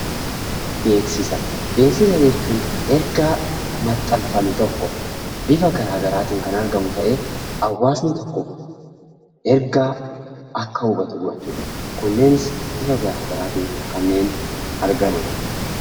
Beeksisa jechuun ergaa maxxanfame tokko bifa garagaraatiin kan argamu ta'ee hawaasni tokko ergaa akka hubatu godhuudha. Kunneenis bifa garagaraatiin argaman jechuudha.